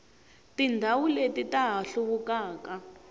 tindhawu leti ta ha hluvukaka